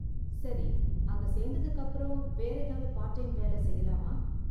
சரி, அங்க சேர்ந்ததுக்கு அப்பறம், வேற ஏதாவது பார்ட் டைம் வேல செய்யலாமா?